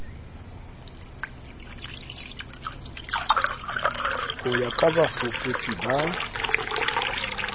ho ya ka bafuputsi ba